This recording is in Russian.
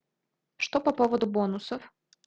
что по поводу бонусов